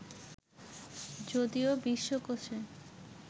যদিও বিশ্বকোষে